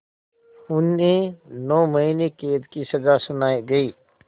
उन्हें नौ महीने क़ैद की सज़ा सुनाई गई